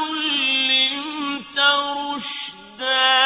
عُلِّمْتَ رُشْدًا